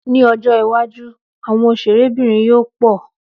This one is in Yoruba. Ní ọjọ́ iwájú, àwọn òṣèré bìnrin yóò pọ̀